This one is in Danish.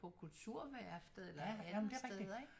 På Kulturværftet eller andet steder ik